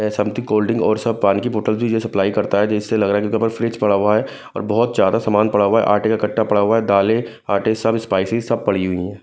Something कोल्डिंग और सब पानी की बोतल भी ये सप्लाई करता है जिससे लग रहा है कि यहाँ पर फ्रिज पड़ा हुआ है और बहुत ज्यादा सामान पड़ा हुआ है आटे का कट्टा पड़ा हुआ है दालें आटे सब स्पाइसेस सब पड़ी हुई हैं।